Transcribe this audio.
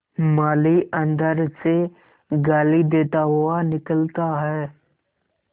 माली अंदर से गाली देता हुआ निकलता है